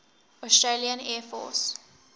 australian air force